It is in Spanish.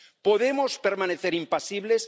¿Podemos permanecer impasibles?